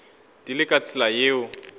di le ka tsela yeo